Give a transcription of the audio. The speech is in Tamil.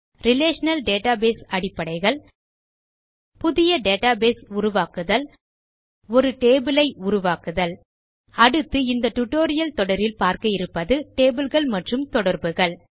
ரிலேஷனல் டேட்டாபேஸ் அடிப்படைகள் புதிய டேட்டாபேஸ் உருவாக்குதல் ஒரு டேபிள் ஐ உருவாக்குதல் அடுத்து இந்த டியூட்டோரியல் தொடரில் பார்க்க இருப்பது டேபிள் கள் மற்றும் தொடர்புகள்